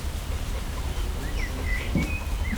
лучшее шоу